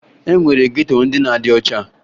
E nwere geto ndị na-adị ọcha